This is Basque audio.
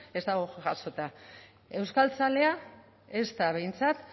ez dago jasota euskaltzalea ez da behintzat